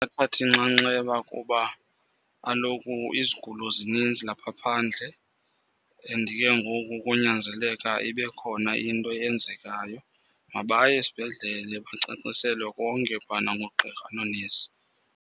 Athathe inxanxeba kuba kaloku izigulo zininzi lapha phandle. And ke ngoku konyanzeleka ibe khona into eyenzekayo. Mabaye esibhedlele bacaciselwe konke phana ngoogqirha noonesi.